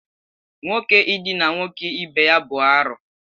Nwoke idina nwoke ibe ya bụ arụ